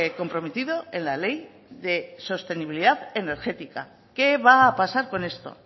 comprometido en la ley de sostenibilidad energética qué va a pasar con esto